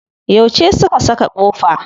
Yauce su ka saka kofa?